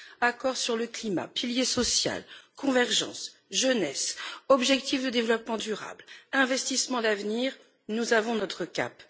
Accord sur le climat, pilier social, convergence, jeunesse, objectifs de développement durable, investissements d'avenir nous avons notre cap.